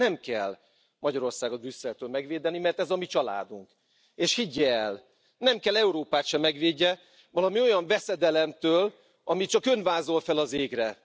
Nem kell Magyarországot Brüsszeltől megvédeni, mert ez a mi családunk, és higgye el, nem kell Európát sem megvédenie valami olyan veszedelemtől, amit csak Ön vázol fel az égre.